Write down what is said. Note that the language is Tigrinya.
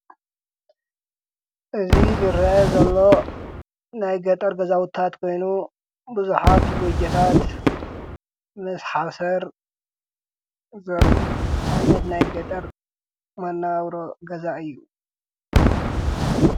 እዚ ዝርአ ዘሎ ናይ ገጠር ገዛውታት ኮይኑ ብዙኃት ጐጀታት ምስ ሓሰር ዘርኢ ዓይነት ናይ ገጠር መናብሮ ገዛ እዩ።